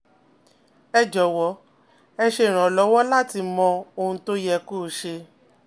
ẹ jọ̀wọ́ e se irànlọ́wọ́ láti mọ ohun tó yẹ kó ṣe